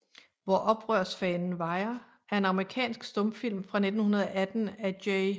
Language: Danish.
Hvor Oprørsfanen vajer er en amerikansk stumfilm fra 1918 af J